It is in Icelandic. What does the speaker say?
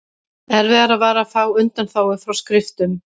Erfiðara var að fá undanþágu frá skriftum.